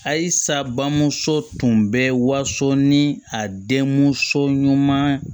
Ayi sa bamuso tun bɛ wariso ni a denmuso ɲuman